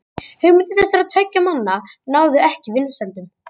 Hugmyndir þessara tveggja manna náðu ekki vinsældum.